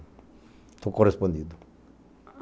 Estou correspondido.